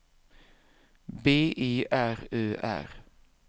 B E R Ö R